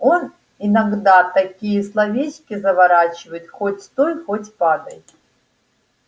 он иногда такие словечки заворачивает хоть стой хоть падай